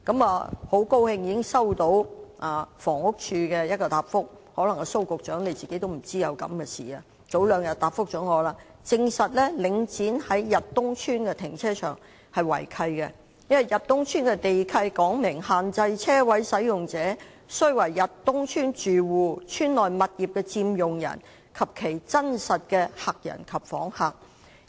我很高興已經接獲房屋署的相關答覆——蘇副局長可能仍未知道這件事——但當局早兩天已回答我，證實領展在逸東邨的停車場違契，因為逸東邨的地契訂明限制車位使用者須為逸東邨住戶、邨內物業的佔用人及其真實的客人及訪客。